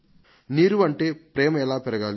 నీరు అంటే ప్రేమ ఎలా పెరగాలి